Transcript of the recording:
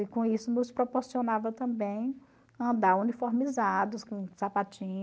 E, com isso, nos proporcionava também andar uniformizados, com sapatinho